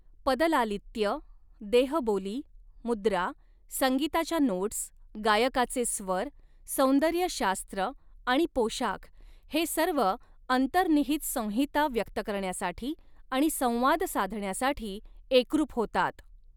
पदलालित्य, देहबोली, मुद्रा, संगीताच्या नोट्स, गायकाचे स्वर, सौंदर्यशास्त्र आणि पोशाख हे सर्व अंतर्निहित संहिता व्यक्त करण्यासाठी आणि संवाद साधण्यासाठी एकरूप होतात.